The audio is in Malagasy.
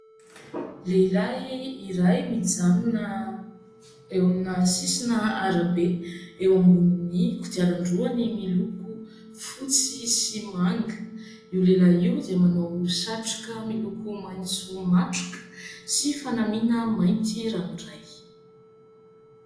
Lehilahy iray mijanona eo amina sisina arabe eo ambonin'ny kodiaran-droany miloko fotsy sy manga. Io lehilahy io dia manao satroka miloko maitso matroka sy fanamiana mainty ranoray.